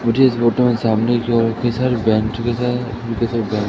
मुझे इस फोटो में सामने की ओर कई सारे बेंचेस हैं